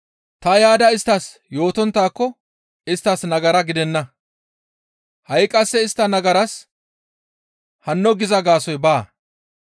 Ta yaada isttas yootonttaako isttas nagara gidenna. Ha7i qasse istta nagaraas hanno giza gaasoykka baa.